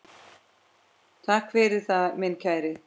Takk fyrir það, minn kæri.